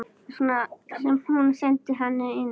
Þess vegna sem hún sendi hana inn.